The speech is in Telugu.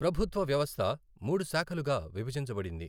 ప్రభుత్వ వ్యవస్థ మూడు శాఖలుగా విభజించబడింది.